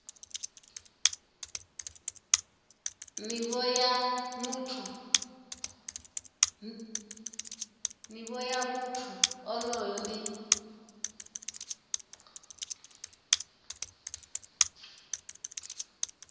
nivho ya muthu onoyo ndi